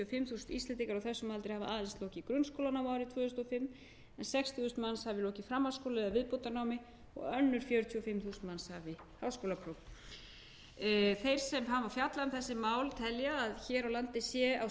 þessum aldri hafi aðeins lokið grunnskólanámi árið tvö þúsund og fimm en sextíu þúsund manns hafi lokið framhaldsskóla eða viðbótarnámi og önnur fjörutíu og fimm þúsund manns hafi háskólapróf þeir sem hafa fjallað um þessi mál telja að hér á landi sé á